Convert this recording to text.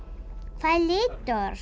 hvað er litróf